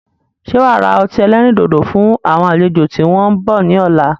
Ṣé wá ra ọtí ẹlẹ́rìndòdò fún àwọn àlejò tí wọn ń bọ̀ ni ọ̀la?